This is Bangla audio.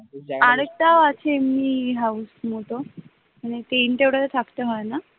আরেকটাও আছে এমনি house মতো টেন্ট এ ওটাতে থাকতে হয় না